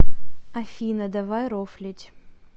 афина давай рофлить